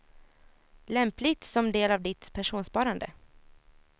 Lämpligt som del av ditt pensionssparande.